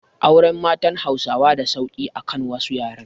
Auren matan Hausawa da sauki akan wasu yaren